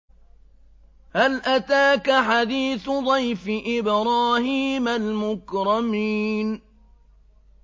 هَلْ أَتَاكَ حَدِيثُ ضَيْفِ إِبْرَاهِيمَ الْمُكْرَمِينَ